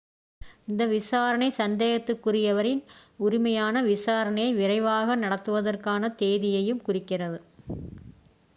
இந்த விசாரணை சந்தேகத்திற்குரியவரின் உரிமையான விசாரணையை விரைவாக நடத்துவதற்கான தேதியையும் குறிக்கிறது